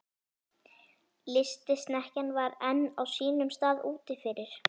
Lystisnekkjan var enn á sínum stað úti fyrir.